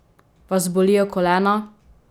Vas bolijo kolena?